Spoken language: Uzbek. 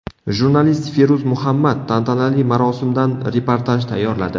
Jurnalist Feruz Muhammad tantanali marosimdan reportaj tayyorladi.